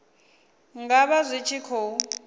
nga vha zwi tshi khou